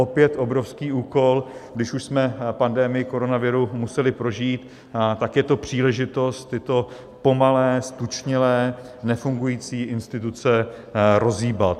Opět obrovský úkol: když už jsme pandemii koronaviru museli prožít, tak je to příležitost tyto pomalé, ztučnělé, nefungující instituce rozhýbat.